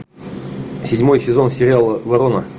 седьмой сезон сериала ворона